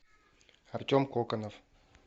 артем коконов